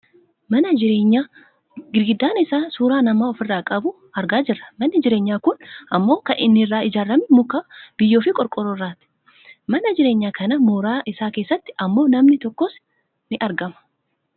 mana jireenyaa girgiddaan isaa suuraa namaa ofirraa qabu argaa jirra . manni jireenyaa kun ammoo kan inni irraa ijaarrame muka , biyyoofi qorqoorroo irrrati. mana jireenyaa kana mooraa isaa keessatti ammoo namni tokkos ni argama..